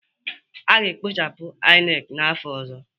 A ga-ekpochapụ INEC n'afọ ọzọ